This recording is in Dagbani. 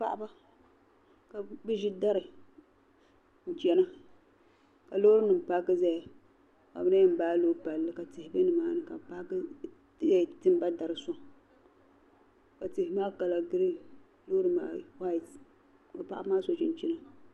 Paɣiba kabi zi dari n chana kalɔɔrinim paaki zaya ka bi lan yan baalɔɔ palli ka tihi be nimaani. kabi kpaaki timaba dari n sɔŋ ka tihi maa, kala green ka paɣibi maa so chinchina